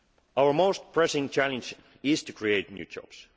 an entity. Our most pressing challenge is to create